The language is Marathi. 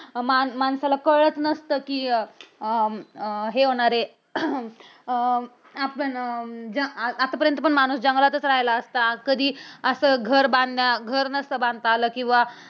माण माणसाला कळलं नसतं कि अं अं हे होणार आहे. अह आपण आतापर्यंत माणूस जंगलातच राहिला असता. कधी असं घर बांधणार, घर नसतं बांधता आलं किंवा